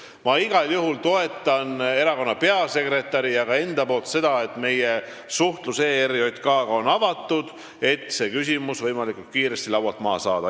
Ma igal juhul ütlen erakonna peasekretäri ja enda nimel, et me oleme avatud suhtlemiseks ERJK-ga, et see küsimus võimalikult kiiresti laualt maha saada.